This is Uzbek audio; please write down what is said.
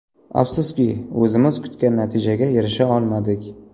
Afsuski, o‘zimiz kutgan natijaga erisha olmadik.